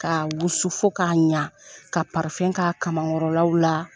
Ka wusu fo k'a ɲa, ka k'a kamakɔrɔlaw la.